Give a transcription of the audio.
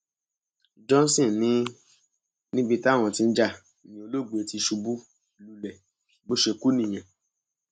johnson ní níbi táwọn tí ń jà ní olóògbé ti ṣubú lulẹ bó ṣe kú nìyẹn